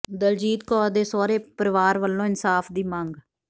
ਦਲਜੀਤ ਕੌਰ ਦੇ ਸਹੁਰੇ ਪਰਿਵਾਰ ਵੱਲੋਂ ਇਨਸਾਫ਼ ਦੀ ਮੰਗ